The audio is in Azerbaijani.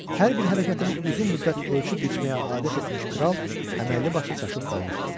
Hər bir hərəkətinə uzun müddət ölçüb biçməyə adət etmiş kral əməlli başlı çaşıb qalmışdı.